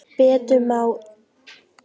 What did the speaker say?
Betur má ef duga skal!